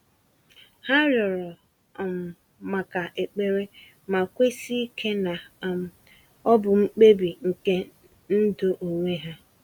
Ha rịọrọ um maka ekpere, ma kwesi ike na um ọ bụ mkpebi nke ndụ onwe ha.